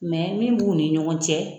Mɛ min b'u ni ɲɔgɔn cɛ